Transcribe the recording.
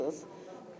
Hamınız burdasız.